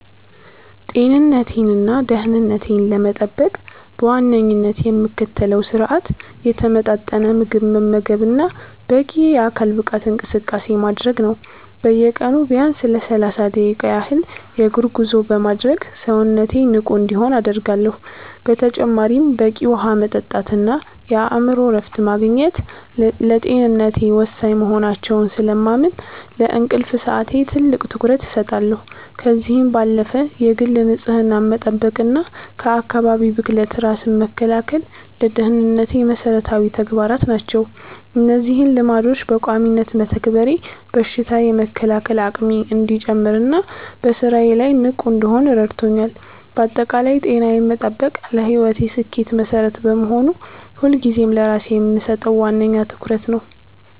ጤንነቴንና ደህንነቴን ለመጠበቅ በዋነኝነት የምከተለው ስርአት የተመጣጠነ ምግብ መመገብና በቂ የአካል ብቃት እንቅስቃሴ ማድረግ ነው። በየቀኑ ቢያንስ ለሰላሳ ደቂቃ ያህል የእግር ጉዞ በማድረግ ሰውነቴ ንቁ እንዲሆን አደርጋለሁ። በተጨማሪም በቂ ውሃ መጠጣትና የአእምሮ እረፍት ማግኘት ለጤንነቴ ወሳኝ መሆናቸውን ስለማምን፣ ለእንቅልፍ ሰዓቴ ትልቅ ትኩረት እሰጣለሁ። ከዚህም ባለፈ የግል ንጽህናን መጠበቅና ከአካባቢ ብክለት ራስን መከላከል ለደህንነቴ መሰረታዊ ተግባራት ናቸው። እነዚህን ልማዶች በቋሚነት መተግበሬ በሽታ የመከላከል አቅሜ እንዲጨምርና በስራዬ ላይ ንቁ እንድሆን ረድቶኛል። ባጠቃላይ ጤናዬን መጠበቅ ለህይወቴ ስኬት መሰረት በመሆኑ፣ ሁልጊዜም ለራሴ የምሰጠው ዋነኛ ትኩረት ነው።